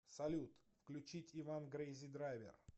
салют включить иван крэйзи драйвер